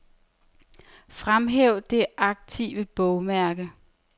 Fremhæv det aktive bogmærke.